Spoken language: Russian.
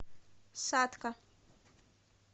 сатка